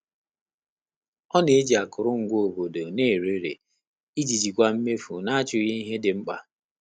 Ọ́ nà-éjí ákụ́rụ́ngwá òbòdò n’érééré ìjí jíkwáá mméfù nà-áchụ́ghị́ íhé dị́ mkpà.